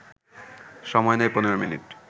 সময় নেয় ১৫ মিনিট